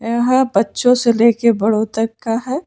यहाँ बच्चों से लेकर बड़ों तक का है।